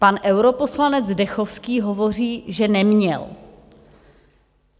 Pan europoslanec Zdechovský hovoří, že neměl.